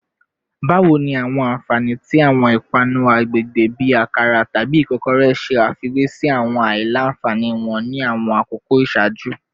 Bawo ni awọn anfani ti awọn ipanu agbegbe bi akara tabi ikokore ṣe afiwe si awọn alailanfani wọn ni awọn akoko iṣaaju?